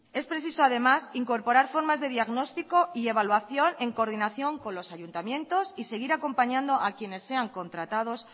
es preciso además incorporar formas de diagnóstico y evaluación en coordinación con los ayuntamientos y seguir acompañando a quienes sean contratados